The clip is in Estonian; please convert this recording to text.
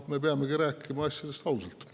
Me peamegi rääkima asjadest ausalt.